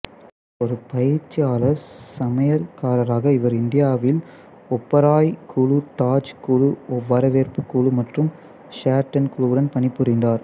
ஒரு பயிற்சியாளர் சமையல்காரராக இவர் இந்தியாவில் ஓபராய் குழு தாஜ் குழு வரவேற்பு குழு மற்றும் ஷெரட்டன் குழுவுடன் பணிபுரிந்தார்